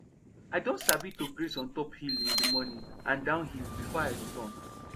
i don sabi to graze on top hill in d morning and down hill before i return